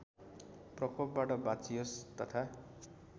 प्रकोपबाट बाँचियोस् तथा